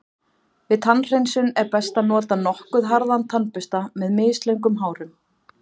Við tannhreinsun er best að nota nokkuð harðan tannbursta með mislöngum hárum.